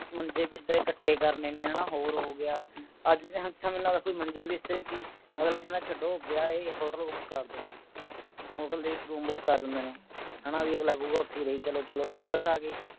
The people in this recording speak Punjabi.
ਮੰਜੇ ਬਿਸਤਰੇ ਕਕੱਠੇ ਕਰਨੇ ਨੇ ਹੈ ਨਾ ਹੋਰ ਹੋ ਗਿਆ ਅੱਜ ਤੇ ਇਸ ਤਰਾਂ ਲਗਦਾ ਕੋਈ ਮੰਜੇ ਬਿਸਤਰੇ ਕੀ ਅਗਲਾ ਕਹੰਦਾ ਵਿਆਹਿਆ ਹੈ hotel book ਕੇਰ ਦੋ hotel ਦੇ ਵਿਚ room book ਕਰ ਦਿੰਦੇ ਨੇ ਹੈ ਨਾ ਬਈ ਅਗਲਾ ਕਹੁ ਗਾ ਓਥੇ ਹੀ ਰਹੀ ਚਲੋ ਚਲੋ palace ਆ ਗਏ